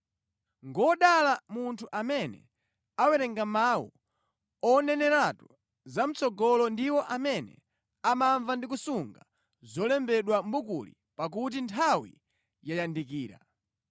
Ngodala munthu amene awerenga mawu oneneratu zamʼtsogolo ndi iwo amene amamva ndi kusunga zolembedwa mʼbukuli pakuti nthawi yayandikira.